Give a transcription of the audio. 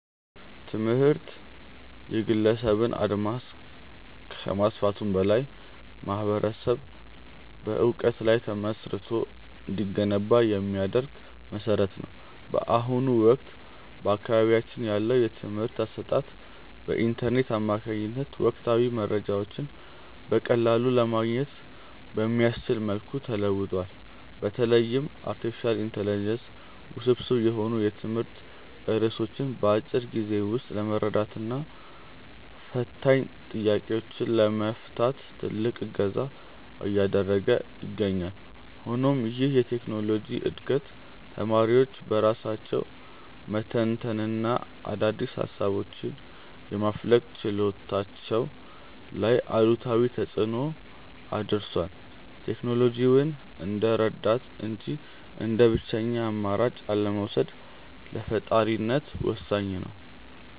ትምህርት የግለሰብን አድማስ ከማስፋቱም በላይ ማኅበረሰብ በዕውቀት ላይ ተመስርቶ እንዲገነባ የሚያደርግ መሠረት ነው። በአሁኑ ወቅት በአካባቢያችን ያለው የትምህርት አሰጣጥ በኢንተርኔት አማካኝነት ወቅታዊ መረጃዎችን በቀላሉ ለማግኘት በሚያስችል መልኩ ተለውጧል። በተለይም አርቲፊሻል ኢንተለጀንስ ውስብስብ የሆኑ የትምህርት ርዕሶችን በአጭር ጊዜ ውስጥ ለመረዳትና ፈታኝ ጥያቄዎችን ለመፍታት ትልቅ እገዛ እያደረገ ይገኛል። ሆኖም ይህ የቴክኖሎጂ ዕድገት ተማሪዎች በራሳቸው የመተንተንና አዳዲስ ሃሳቦችን የማፍለቅ ችሎታቸው ላይ አሉታዊ ተፅእኖ አድርሷል። ቴክኖሎጂውን እንደ ረዳት እንጂ እንደ ብቸኛ አማራጭ አለመውሰድ ለፈጣሪነት ወሳኝ ነው።